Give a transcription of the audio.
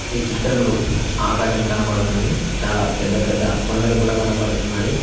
ఈ చిత్రంలో ఆకాశం కనబడుతుంది చాలా పెద్ద పెద్ద కొండలు కూడా కనపడుతున్నాయి.